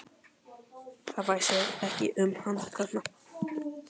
Það stóð, að þið hygðust þvinga þá til að selja